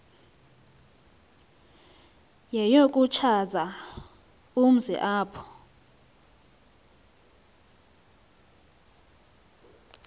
yeyokuchaza umzi apho